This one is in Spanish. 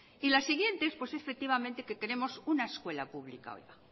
y la siguiente pues es efectivamente que queremos una escuela pública ahora